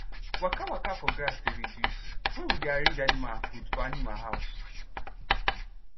waka waka for grass dey reduce wen we dey arrange animal food for animal house